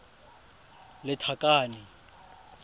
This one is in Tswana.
lethakane